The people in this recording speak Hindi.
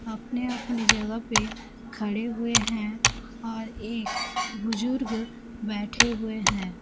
अपने-अपने जगह पे खड़े हुए है और एक बुजुर्ग बैठे हुए है।